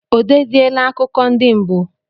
O deziela akụkọ ndị mbụ?